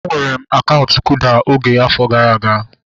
Enwere m akaụntụ kuda oge afọ gara aga